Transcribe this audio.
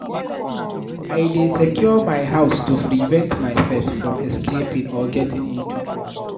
I dey secure my house to prevent my pet from escaping or getting into trouble.